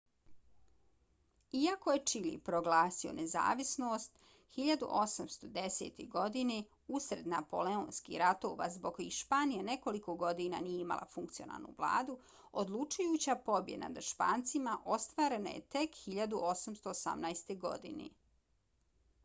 iako je čile proglasio nezavisnost 1810. godine usred napoleonskih ratova zbog kojih španija nekoliko godina nije imala funkcionalnu vladu odlučujuća pobjeda nad špancima ostvarena je tek 1818. godine